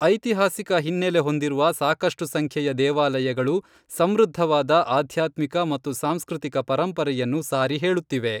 ಐತಿಹಾಸಿಕ ಹಿನ್ನೆಲೆ ಹೊಂದಿರುವ ಸಾಕಷ್ಟು ಸಂಖ್ಯೆಯ ದೇವಾಲಯಗಳು ಸಮೃದ್ಧವಾದ ಆಧ್ಯಾತ್ಮಿಕ ಮತ್ತು ಸಾಂಸ್ಕೃತಿಕ ಪರಂಪರೆಯನ್ನು ಸಾರಿ ಹೇಳುತ್ತಿವೆ